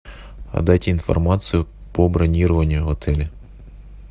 дайте информацию по бронированию в отеле